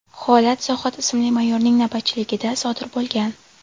Holat Zohid ismli mayorning navbatchiligida sodir bo‘lgan.